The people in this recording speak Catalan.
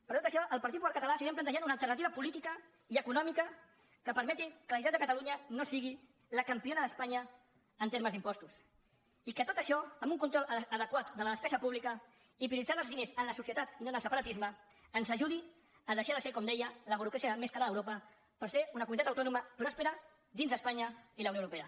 per tot això el partit popular català seguirem plantejant una alternativa política i econòmica que permeti que la generalitat de catalunya no sigui la campiona d’espanya en termes d’impostos i que tot això amb un control adequat de la despesa pública i prioritzant els diners en la societat i no en el separatisme ens ajudi a deixar de ser com deia la burocràcia més cara d’europa per ser una comunitat autònoma pròspera dins d’espanya i la unió europea